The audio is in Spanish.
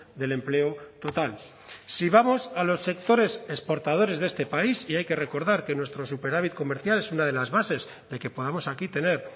del empleo total si vamos a los sectores exportadores de este país y hay que recordar que nuestro superávit comercial es una de las bases de que podamos aquí tener